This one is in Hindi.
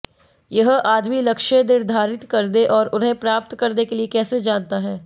यह आदमी लक्ष्य निर्धारित करने और उन्हें प्राप्त करने के लिए कैसे जानता है